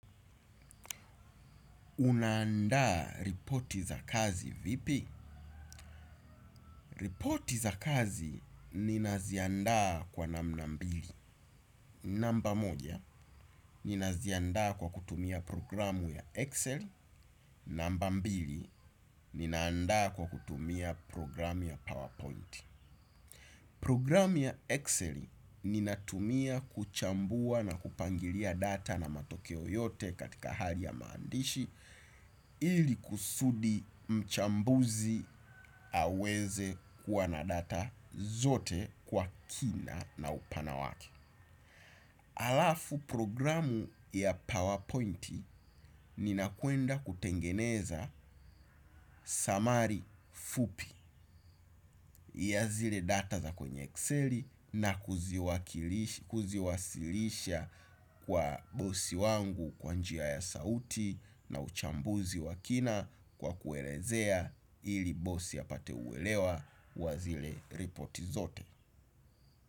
Unaandaa ripoti za kazi vipi? Ripoti za kazi ninaziandaa kwa namna mbili. Namba moja, ninaziandaa kwa kutumia programu ya Excel. Namba mbili, ninaanda kwa kutumia programu ya PowerPoint. Programu ya Excel, ninatumia kuchambua na kupangilia data na matokeo yote katika hali ya maandishi. Ili kusudi mchambuzi aweze kuwa na data zote kwa kina na upana wake. Alafu programu ya PowerPoint ninakwenda kutengeneza summary fupi ya zile data za kwenye Excel na kuziwasilisha kwa bosi wangu kwa njia ya sauti na uchambuzi wa kina kwa kuelezea ili bosi apate uelewa wa zile ripoti zote.